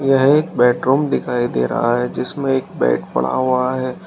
यह एक बेडरूम दिखाई दे रहा है जिसमें एक बेड पड़ा हुआ है।